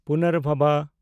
ᱯᱩᱱᱟᱨᱵᱷᱚᱵᱟ